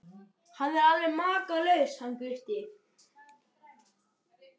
Hann er alveg makalaus hann Gutti.